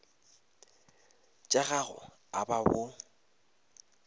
tša gago a ba bo